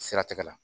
Siratigɛ la